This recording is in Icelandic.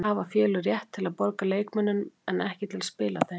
Hafa félög rétt til að borga leikmönnum en ekki til að spila þeim?